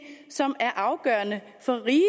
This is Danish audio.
som er afgørende for riget